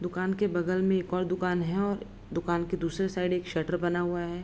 दुकान के बगल में एक और दुकान है और दुकान के दूसरे साइड शटर बना हुआ है।